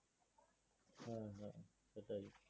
সেটাই।